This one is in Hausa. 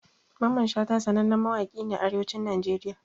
Mamman Shata sanannen mawaki ne a arewacin Najeriya